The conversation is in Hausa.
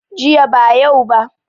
Jiya ba yau ba